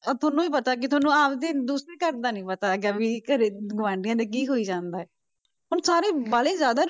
ਤੁਹਾਨੂੰ ਵੀ ਪਤਾ ਕਿ ਤੁਹਾਨੂੰ ਆਪਦੇ ਦੂਸਰੇ ਘਰ ਦਾ ਨੀ ਪਤਾ ਹੈਗਾ ਵੀ ਘਰੇ ਗੁਆਂਢੀਆਂ ਦੇ ਕੀ ਹੋਈ ਜਾਂਦਾ ਹੈ, ਹੁਣ ਸਾਰੇ ਵਾਹਲੇ ਜ਼ਿਆਦਾ